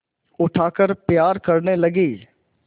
उठाकर प्यार करने लगी